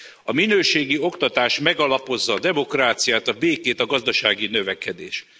A minőségi oktatás megalapozza a demokráciát, a békét, a gazdasági növekedést.